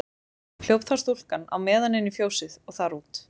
Hljóp þá stúlkan á meðan inn í fjósið og þar út.